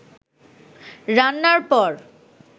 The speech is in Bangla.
রান্নার পর